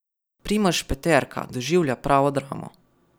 Primož Peterka doživlja pravo dramo.